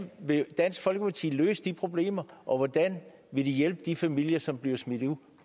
vil dansk folkeparti løse de problemer og hvordan vil de hjælpe de familier som bliver smidt ud